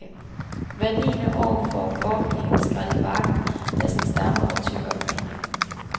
Hvert niende år får korkegen skrællet barken af sin stamme og tykkere grene.